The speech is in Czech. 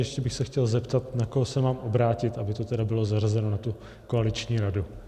Ještě bych se chtěl zeptat, na koho se mám obrátit, aby to tedy bylo zařazeno na tu koaliční radu.